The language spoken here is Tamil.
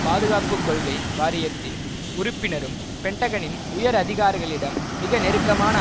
பாதுகாப்பு கொள்கை வாரியத்தின் உறுப்பினரும் பென்டகனின் உயர் அதிகாரிகளிடம் மிக நெருக்கமான